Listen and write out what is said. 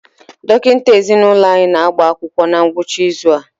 Dọkịta ezinụlọ anyị na-agba akwụkwọ na ngwụcha izu a.